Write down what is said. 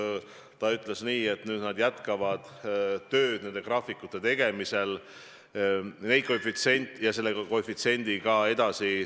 Irja Lutsar ütles, et nad jätkavad tööd graafikute tegemisel ja töötavad ka selle koefitsiendiga edasi.